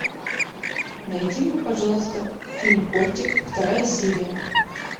найди мне пожалуйста фильм кортик вторая серия